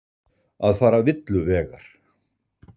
Að fara villu vegar